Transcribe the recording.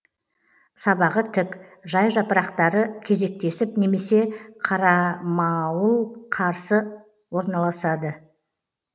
сабағы тік жай жапырақтары кезектесіп немесе қарамауылықарсы орналасады